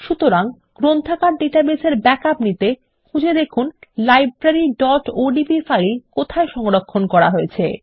সুতরাং গ্রন্থাগার ডাটাবেসের ব্যাকআপ নিতে খুঁজে দেখুন libraryওডিবি ফাইল কোথায় সংরক্ষণ করা হয়েছে